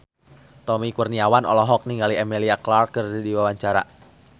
Tommy Kurniawan olohok ningali Emilia Clarke keur diwawancara